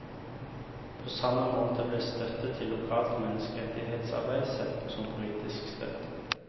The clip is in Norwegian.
På samme måte ble støtte til lokalt mennekserettighetsarbeid sett på som politisk støtte.